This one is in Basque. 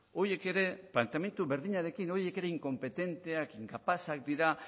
horiek ere planteamendu berdinarekin horiek ere inkopetenteak inkapazak dira